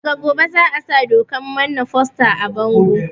Daga gobe za a sa dokan mana foster a bango